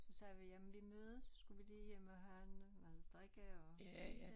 Så sagde vi jamen vi mødes så skulle vi lige hjem og have noget at drikke og spise